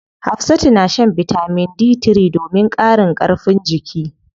Hafsatu na shan bitamin D3 domin ƙarin karfin jiki.